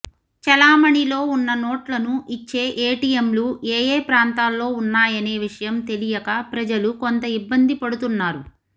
చెలామణిలో ఉన్న నోట్లను ఇచ్చే ఏటీఎంలు ఏయే ప్రాంతాల్లో ఉన్నాయనే విషయం తెలియక ప్రజలు కొంత ఇబ్బంది పడుతున్నారు